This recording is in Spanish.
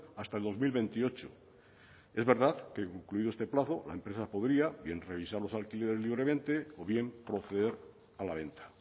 hasta el dos mil veintiocho es verdad que concluido este plazo la empresa podría bien revisar los alquileres libremente o bien proceder a la venta